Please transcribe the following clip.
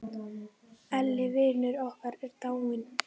Elli vinur okkar er dáinn.